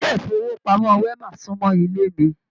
ilé ifowopamọ Wema sunmọ ilé mí.